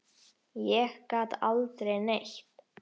Ég gat aldrei neitt.